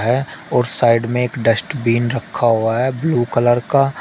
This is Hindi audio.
है और साइड में एक डस्टबिन रखा हुआ है ब्लू कलर का।